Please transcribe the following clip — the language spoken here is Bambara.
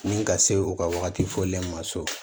Ni ka se u ka wagati fɔlen ma so